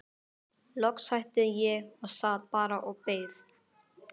Loks hætti ég og sat bara og beið.